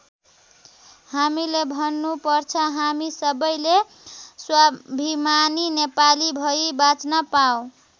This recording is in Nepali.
हामीले भन्नु पर्छ हामी सबैले स्वाभिमानी नेपाली भई बाच्न पाउँ।